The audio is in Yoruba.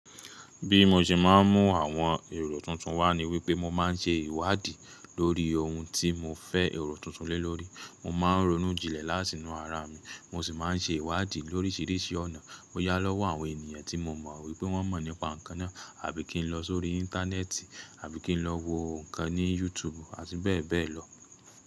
Bí mo ṣe máa ń mú àwọn èrò tuntun wá ni wípé mo máa ń ṣe ìwádìí lórí ohun tí mo fẹ́ èrò tuntun lé lórí. Mo máa ń ronú jinlẹ̀ láti inu ara mi, mo sì máa ń ṣe ìwádìí l'órísìírísìí ọ̀nà. Bó yá lọ́wọ́ àwọn ènìyàn tí mo mọ̀ wípé wọ́n mọ̀ nípa nǹkan náà àbí kí n lọ sórí Íńtánẹ́ẹ̀tì àbí kí n lọ wo nǹkan ní Yutubu àti bẹ́ẹ̀ bẹ́ẹ̀ lọ.